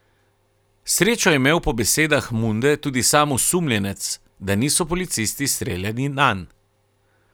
Srečo je imel po besedah Munde tudi sam osumljenec, da niso policisti streljali nanj.